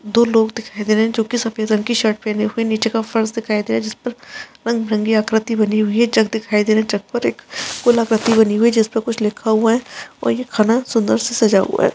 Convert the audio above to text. दो लोग दिखाई दे रहे हैं जो सफ़ेद रंग की शर्ट पेहने हुए निचे का फर्श दिखाई दे रहा है जिस पर रंग बिरंगी आकृति बनी हुई है। छत दिखाई दे रही है छत पर एक गोल आकृति बनी हुई है जिस पर कुछ लिखा हुआ है और ये घना सुंदर से सजा हुआ है।